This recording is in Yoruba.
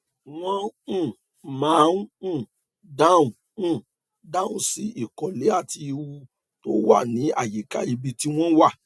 wọn um máa ń um dáhùn um dáhùn sí ìkọlé àti ìwú tó wà ní àyíká ibi tí wọn wà